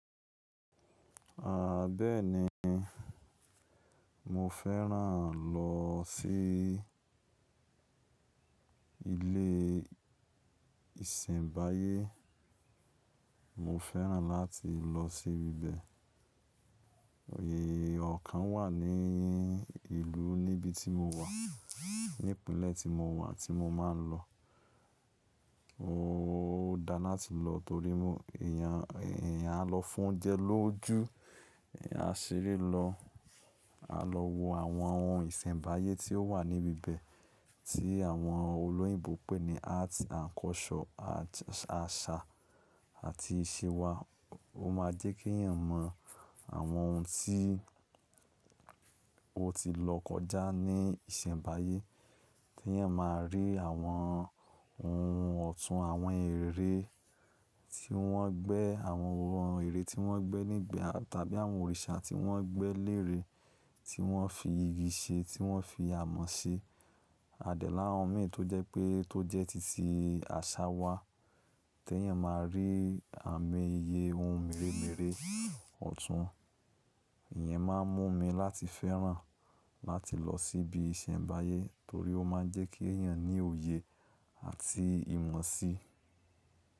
Aàbẹ́ẹ́ni mo fẹ́ràn lọ sí ilé ìsẹ̀mbáyé. Mo fẹ́ràn láti lọ sí ibi bẹ́ẹ̀. Oyè ọ̀kan wà ní ìlú níbi tí mo wà. Ní ìpínlẹ̀ tí mo wà tí mo máa ń lọ. Ó dáa láti lọ torí mo èèyàn lọ fún oúnjẹ lójú, àṣere lọ, a lọ wo àwọn ohun ìsẹ̀mbáyé tí ó wà níbi bẹ́ẹ̀ tí àwọn olóyìnbo pè ní arts and culture àṣà àti ìṣe wa. Ó máa jẹ́ kí èèyàn mọ àwọn ohun tí ó ti lọ kọjá ní ìsẹ̀mbáyé. Tẹ́ èèyàn máa rí àwọn ohun ọ̀tún àwọn ère tí wọ́n gbẹ́, àwọn ère tí wọ́n gbẹ́ nígbà tàbí àwọn òrìṣà tí wọ́n gbẹ́ léèrè, tí wọ́n fi igi ṣe, tí wọ́n fi amọ̀ ṣe. A dé lára àwọn ìmí tó jẹ́ pé tó jẹ́ títí àṣà wa. Tẹ́ èèyàn máa rí àmì iye ohun mèremère ọ̀tún. Ìyẹn máa ń mú mi láti fẹ́ràn láti lọ sí ibi ìsẹ̀mbáyé torí ó máa ń jẹ́ kí èèyàn ní òye àti ìmọ̀ sí.